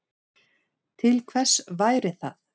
Til hvers væri það?